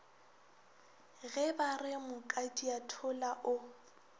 ge ba re mokadiathola o